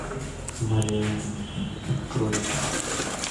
марианна открой